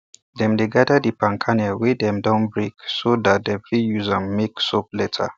dem dey gather di palm kernel wey dem don break so that dem fit use am make soap later